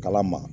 Kala ma